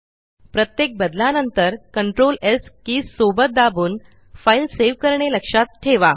प्रत्येक बदलानंतर CTRLS keys सोबत दाबून फ़ाइल सेव करणे लक्षात ठेवा